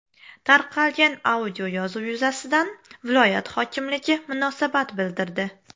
Tarqalgan audioyozuv yuzasidan viloyat hokimligi munosabat bildirdi .